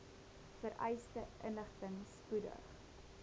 vereiste inligting spoedig